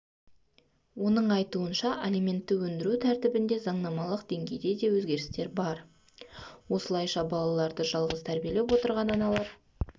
оның айтуынша алиментті өндіру тәртібінде заңнамалық деңгейде де өзгерістер бар осылайша балаларды жалғыз тәрбиелеп отырған аналар